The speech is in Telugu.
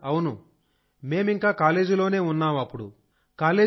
అవును సార్ అవును మేము ఇంకా కాలేజీలోనే ఉన్నాం అప్పుడు